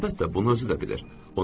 Əlbəttə, bunu özü də bilir.